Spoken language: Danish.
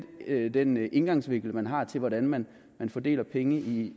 den indgangsvinkel man har til hvordan man fordeler penge i